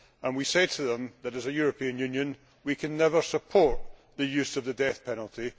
We say to them that as a European Union we can never support the use of the death penalty.